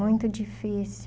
Muito difícil.